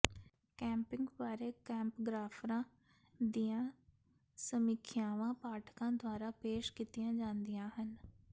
camping ਬਾਰੇ ਕੈਂਪਗ੍ਰਾਫਰਾਂ ਦੀਆਂ ਸਮੀਖਿਆਵਾਂ ਪਾਠਕਾਂ ਦੁਆਰਾ ਪੇਸ਼ ਕੀਤੀਆਂ ਜਾਂਦੀਆਂ ਹਨ